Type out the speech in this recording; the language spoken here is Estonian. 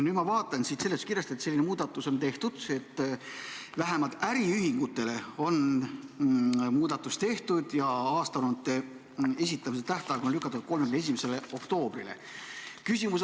Nüüd ma vaatan siit seletuskirjast, et on tehtud selline muudatus, et vähemalt äriühingute aastaaruannete esitamise tähtaeg on lükatud 31. oktoobrile.